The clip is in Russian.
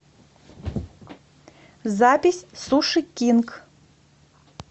запись суши кинг